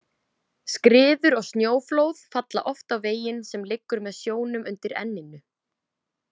Skriður og snjóflóð falla oft á veginn sem liggur með sjónum undir Enninu.